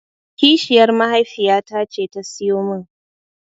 Kishiyar mahaifiyata ce ta siyo min.